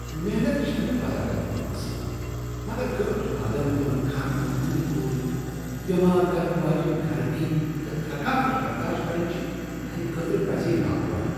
محنت چھ نہٕ بذات خود مسلہٕ، مگر گٲنٹہٕ واد تِمن كھاہن منز نمِتھ روزٗن ، بیمار كرن واجینہِ گرمی تہٕ تھکاوٹ برداشت کرٕنہِ چھٗ میانہِ خٲطرٕ پزی ناگوار۔